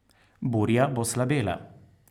Burja bo slabela.